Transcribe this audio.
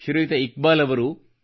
ಶ್ರೀಯುತ ಇಕ್ಬಾಲ್ ಅವರು